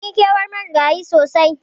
Munyi kewan Marigayin sosai.